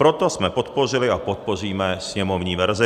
Proto jsme podpořili a podpoříme sněmovní verzi.